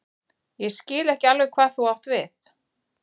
Ég skil ekki alveg hvað þú átt við.